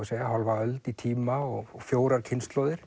segja hálfa öld í tíma og fjórar kynslóðir